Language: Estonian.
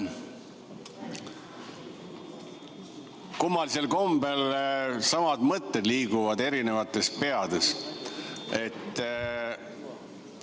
Kummalisel kombel liiguvad eri peades samad mõtted.